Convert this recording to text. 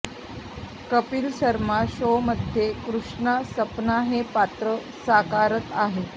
कपिल शर्मा शोमध्ये कृष्णा सपना हे पात्र साकारत आहे